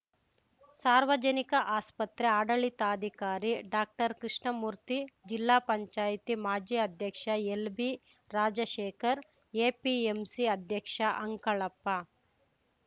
ಸಾರ್ವಜನಿಕ ಆಸ್ಪತ್ರೆ ಆಡಳಿತಾಧಿಕಾರಿ ಡಾಕ್ಟರ್ಕೃಷ್ಣಮೂರ್ತಿ ಜಿಲ್ಲಾ ಪಂಚಾಯತಿ ಮಾಜಿ ಅಧ್ಯಕ್ಷ ಎಲ್‌ಬಿರಾಜಶೇಖರ್‌ ಎಪಿಎಂಸಿ ಅಧ್ಯಕ್ಷ ಅಂಕಳಪ್ಪ